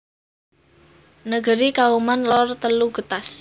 Negeri Kauman Lor telu Getas